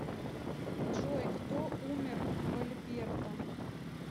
джой кто умер в альберта